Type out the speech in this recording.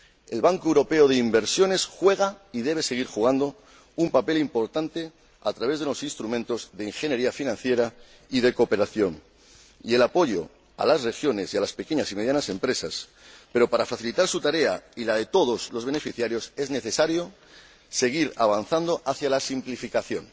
El Banco Europeo de Inversiones desempeña y debe seguir desempeñando un papel importante a través de los instrumentos de ingeniería financiera y de cooperación y del apoyo a las regiones y a las pequeñas y medianas empresas, pero, para facilitar su tarea y la de todos los beneficiarios, es necesario seguir avanzando hacia la simplificación.